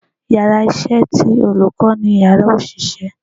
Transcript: íyarà iṣẹ tí olukọ ni Ìyàrá osiṣẹ